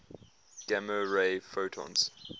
gamma ray photons